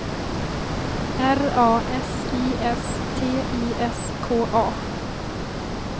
R A S I S T I S K A